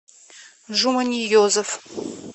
жуманиезов